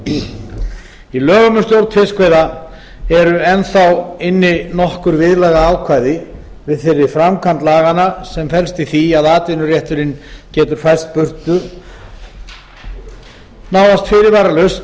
í lögum um stjórn fiskveiða eru enn þá inni nokkur viðlagaákvæði við þeirri framkvæmd laganna sem felst í því að atvinnurétturinn gætur færst burtu nánast fyrirvaralaust